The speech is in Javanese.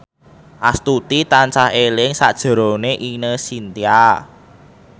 Astuti tansah eling sakjroning Ine Shintya